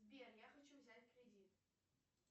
сбер я хочу взять кредит